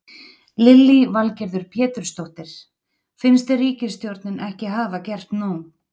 Lillý Valgerður Pétursdóttir: Finnst þér ríkisstjórnin ekki hafa gert nóg?